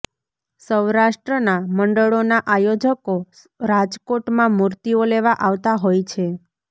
સૌરાષ્ટ્રના મંડળોના આયોજકો રાજકોટમાં મૂર્તિઓ લેવા આવતા હોય છે